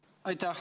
Aitäh!